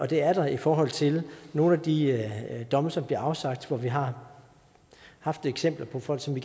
det er der i forhold til nogle af de domme som bliver afsagt hvor vi har haft eksempler på folk som vi